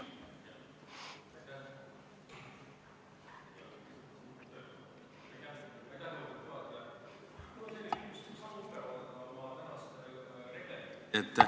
Aitäh, lugupeetud juhataja!